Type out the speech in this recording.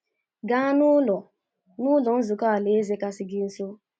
Gaa n’Ụlọ n’Ụlọ Nzukọ Alaeze kasị gị nso.